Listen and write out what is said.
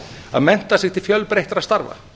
að mennta sig til fjölbreyttra starfa